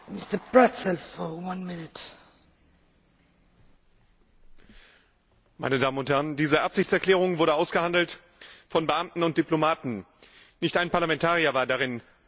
Frau Präsidentin, meine Damen und Herren! Diese Absichtserklärung wurde ausgehandelt von Beamten und Diplomaten. Nicht ein Parlamentarier war darin eingebunden.